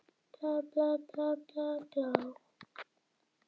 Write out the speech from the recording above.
Ég hef enga peninga meðferðis.